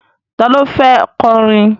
Ta ló fẹ́ kọrin?